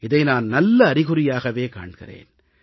இதை நான் நல்ல அறிகுறியாகக் காண்கிறேன்